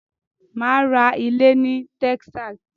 Mà á ra ilé in Texas.